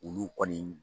Olu kɔni